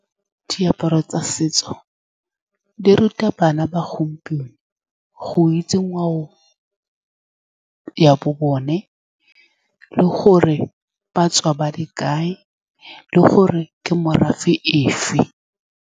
Diaparo tsa setso di ruta bana ba gompieno go itse ngwao ya bone, le gore ba tswa ba le kae, le gore ke morafe efe.